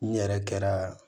N yɛrɛ kɛra